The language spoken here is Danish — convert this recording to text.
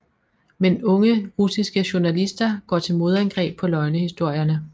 Men unge russiske journalister går til modangreb på løgnehistorierne